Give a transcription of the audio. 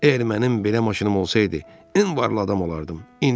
Əgər mənim belə maşınım olsaydı, ən varlı adam olardım.